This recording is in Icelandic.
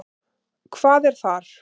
Hvað er þar?